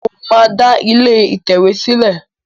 Mo máa da ilé ìtẹ̀wé sìlé